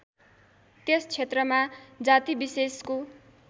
त्यस क्षेत्रमा जातिविशेषको